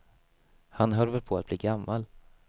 Han höll väl på att bli gammal.